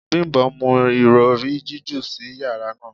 Bimbo mu irọri jiju si yara naa